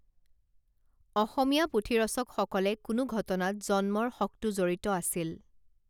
অসমীয়া পুথি ৰচকসকলে কোনো ঘটনাত জন্মৰ শকটো জড়িত আছিল